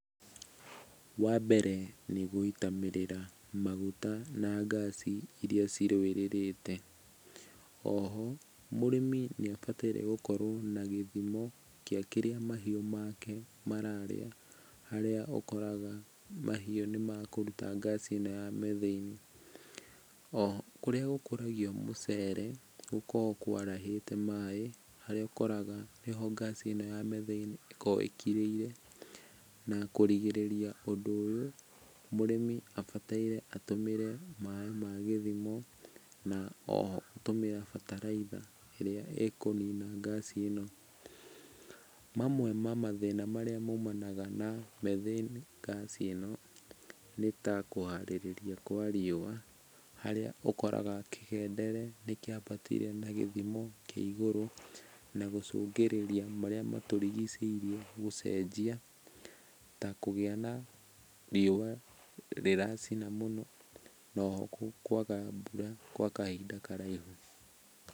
Wa mbere nĩ gũitamĩrĩra maguta na ngaci iria cirũwĩrĩrĩte. Oho mũrĩmi nĩ abataire gũkorwo na gĩthimo kĩa kĩrĩa mahiũ make mararĩa, harĩa ũkoraga mahiũ nĩmekũruta ngaci ĩno ya Methane. O kũrĩa gũkũragio mũcere, gũkoragwo kwarahĩte maĩ harĩa ũkoraga nĩho ngaci ĩno ya Methane ĩkoragwo ĩkirĩire na kũrigĩrĩria ũndũ ũyũ mũrĩmi abataire atũmĩre maĩ ma gĩthimo, na oho atũmĩre bataraitha ĩrĩa ĩkũnina ngaci ĩno. Mamwe ma mathĩna marĩa maumanaga na Methane ngaci ĩno nĩta kũharĩrĩria kwa riũa, harĩa ũkoraga kĩgendere nĩ kĩambatire na gĩthimo kĩa igũrũ na gũcũngĩrĩria marĩa matũrigicĩirie gũcenjia ta kũgĩa na riũa rĩracina mũno na oho kwaga mbura kwa kahinda karaihu.